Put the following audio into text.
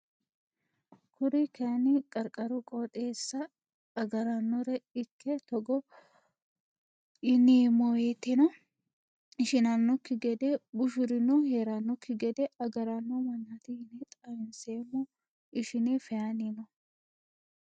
Kuri kaayini qarqaru qooxxeessa agarannore ikke togo yineemowoyiiteno ishinanoki gedde bushurino heeraanoki gede agarano manaati yine xawinseemo ishine feyani no.